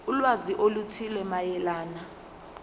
ulwazi oluthile mayelana